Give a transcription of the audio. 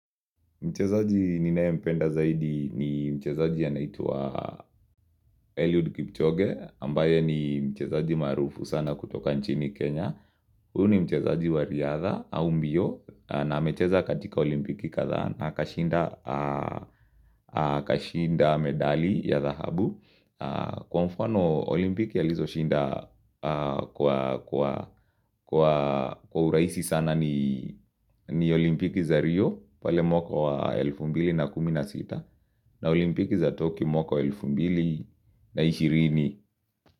Mchezaji ninayempenda zaidi ni mchezaji anaitwa Eliud Kipchoge, ambaye ni mchezaji maarufu sana kutoka nchini Kenya. Huu ni mchezaji wa riadha au mbio na amecheza katika olimpiki kathaa na akashinda medali ya thahabu. Kwa mfano olimpiki alizoshinda kwa uraisi sana ni olimpiki za rio pale mwaka wa elfu mbili na kumi na sita olimpiki za toki mwaka wa elfu mbili na ishirini.